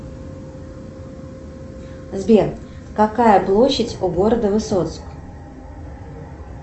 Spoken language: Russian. сбер какая площадь у города высоцк